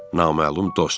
Naməlum dost.